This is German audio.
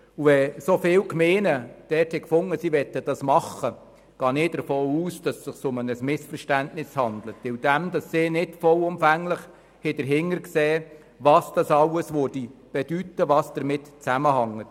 Wenn so viele Gemeinden geäussert haben, dass sie dies machen möchten, gehe ich davon aus, dass es sich um ein Missverständnis handelt und sie nicht vollumfänglich erkannt haben, was dies insgesamt bedeuten würde und was damit zusammenhängt.